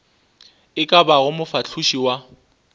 e ka bago mofahloši wa